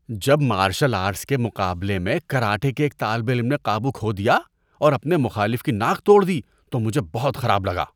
جب martial arts کے مقابلے میں کراٹے کے ایک طالب علم نے قابو کھو دیا اور اپنے مخالف کی ناک توڑ دی تو مجھے بہت خراب لگا۔